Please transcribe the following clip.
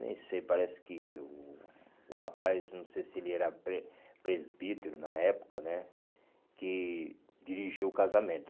Nem sei, parece que o o rapaz, não sei se ele era pre presbítero na época né, que dirigiu o casamento.